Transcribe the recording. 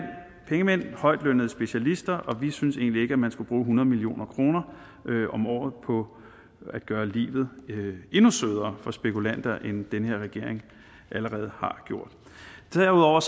pengemænd højtlønnede specialister og vi synes egentlig ikke at man skal bruge hundrede million kroner om året på at gøre livet endnu sødere for spekulanter end den her regering allerede har gjort derudover